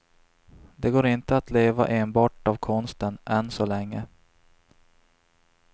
Det går inte att leva enbart av konsten, än så länge.